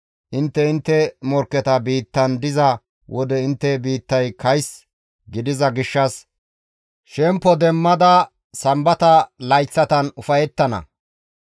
Intte intte morkketa biittan diza wode intte biittay kays gidiza gishshas shemppo demmada Sambata layththatan ufayettana.